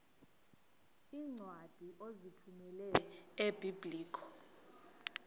iincwadi ozithumela ebiblecor